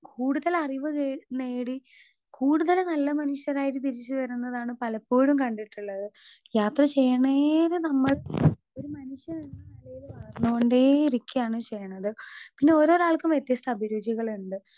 Speaker 2 കൂടുതൽ അറിവ് കേ നേടി കൂടുതല് നല്ല മനുഷ്യരായിട്ട് തിരിച്ച് വരുന്നതാണ് പലപ്പോഴും കണ്ടിട്ടുള്ളത്. യാത്ര ചെയ്യണേരെ നമ്മൾ ഒരു മനുഷ്യനെന്ന നെലയില് വളർന്നോണ്ടേ ഇരിക്കാണ് ചെയ്യ്ണത് പിന്നെ ഓരോരാൾക്കും വ്യത്യസ്ത അഭിരുചികള്ണ്ട്.